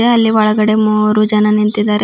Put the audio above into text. ಅದೆ ಅಲ್ಲಿ ಒಳಗಡೆ ಮೂರು ಜನ ನಿಂತಿದ್ದಾರೆ.